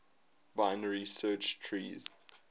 binary search trees